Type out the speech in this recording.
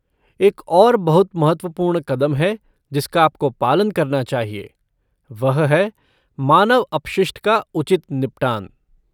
एक और बहुत महत्वपूर्ण कदम है जिसका आपको पालन करना चाहिए, वह है मानव अपशिष्ट का उचित निपटान।